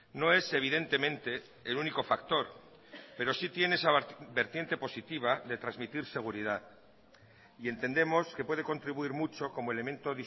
no es evidentemente el único factor pero si tiene esa vertiente positiva de transmitir seguridad y entendemos que puede contribuir mucho como elemento